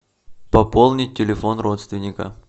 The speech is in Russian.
пополнить телефон родственника